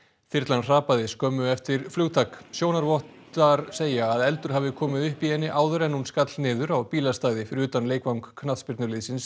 þyrlan hrapaði skömmu eftir flugtak sjónarvottar segja að eldur hafi komið upp í henni áður en hún skall niður á bílastæði fyrir utan leikvang knattspyrnuliðsins